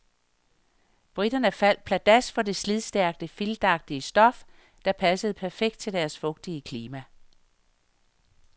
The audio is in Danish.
Briterne faldt pladask for det slidstærke, filtagtige stof, der passede perfekt til deres fugtige klima.